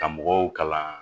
Ka mɔgɔw kalan